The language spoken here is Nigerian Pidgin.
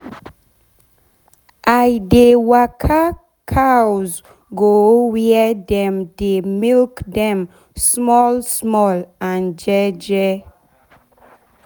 i dey waka cows go where dem dey milk dem small small and jeje